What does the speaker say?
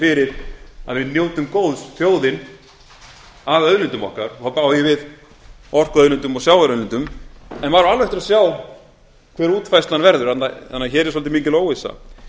fyrir að við njótum góðs þjóðin af auðlindum okkar og þá á ég við orkuauðlindum og sjávarauðlindum en maður á alveg eftir að sjá hver útfærslan verður þannig að hér er svolítið mikil óvissa